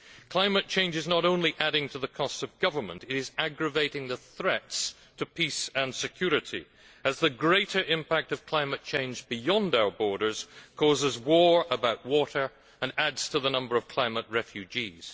Climate change is not only adding to the costs of government, it is aggravating the threats to peace and security as the greater impact of climate change beyond our borders causes war about water and adds to the number of climate refugees.